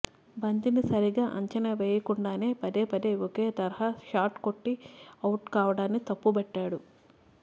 బంతిని సరిగా అంచనా వేయకుండానే పదే పదే ఒకే తరహా షాట్ కొట్టి ఔట్ కావడాన్ని తప్పుబట్టాడు